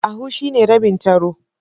A half is the half of three kobos.